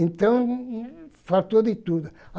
Então, faltou de tudo.